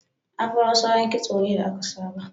Afro salon kitso ne da aka saba.